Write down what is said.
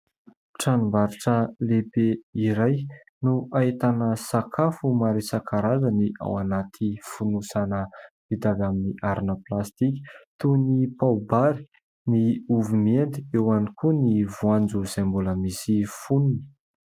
Tranom-barotra lehibe iray no ahitana sakafo maro isan-karazany ao anaty fonosana vita avy amin'ny harona plastika toy ny pao-bary, ny ovy mihendy, ao ihany koa ny voanjo izay mbola misy fonony.